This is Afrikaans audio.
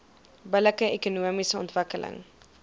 billike ekonomiese ontwikkeling